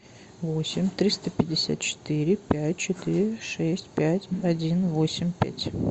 восемь триста пятьдесят четыре пять четыре шесть пять один восемь пять